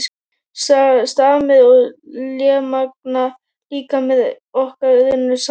Stamir og lémagna líkamir okkar runnu saman.